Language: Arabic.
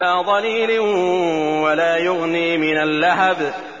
لَّا ظَلِيلٍ وَلَا يُغْنِي مِنَ اللَّهَبِ